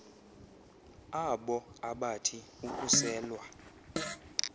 aabo abathi ukuselwa